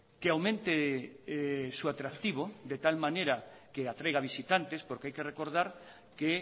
que aumente su atractivo de tal manera que atraiga visitantes porque hay que recordar que